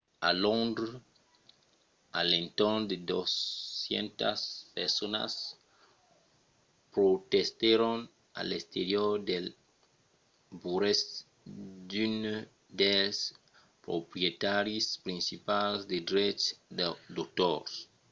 a londres a l’entorn de 200 personas protestèron a l’exterior dels burèus d'unes dels proprietaris principals de dreches d'autors